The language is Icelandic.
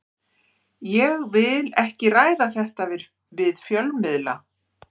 Ég vil ekki ræða þetta við fjölmiðla.